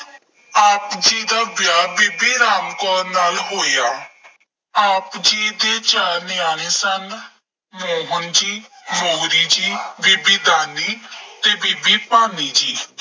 ਆਪ ਜੀ ਦਾ ਵਿਆਹ ਬੀਬੀ ਰਾਮ ਕੌਰ ਨਾਲ ਹੋਇਆ। ਆਪ ਜੀ ਦੇ ਚਾਰ ਨਿਆਣੇ ਸਨ। ਮੋਹਨ ਜੀ, ਮੋਹਰੀ ਜੀ, ਬੀਬੀ ਦਾਨੀ ਅਤੇ ਬੀਬੀ ਭਾਨੀ ਜੀ।